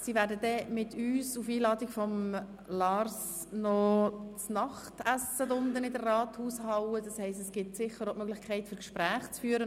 Sie werden mit uns auf Einladung von Grossrat Guggisberg unten in der Rathaushalle noch das Nachtessen einnehmen, und dann gibt es sicher auch die Möglichkeit, Gespräche zu führen.